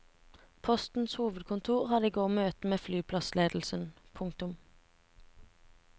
Postens hovedkontor hadde i går møte med flyplassledelsen. punktum